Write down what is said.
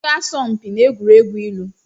M ga-asọ mpi n'egwuregwu ilu.